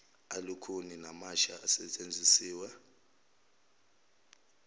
alukhuni namasha asetshenzisiwe